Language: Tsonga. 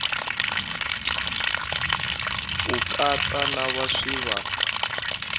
ku katsa lava swi va